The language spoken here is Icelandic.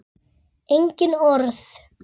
Engin orð.